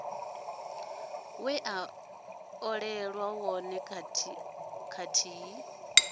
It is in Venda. we a olelwa wone kathihi